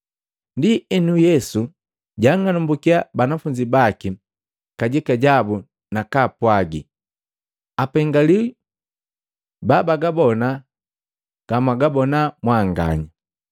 Ndienu Yesu jang'alumbukiya banafunzi baki kajika jabu nakapwagi, “Apengaliwi babagabona gamwagabona mwanganya!